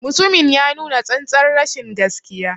Mutumin ya nuna tsantar rashin gaskiya.